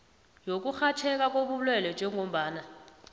yokurhatjheka kobulwelwe njengombana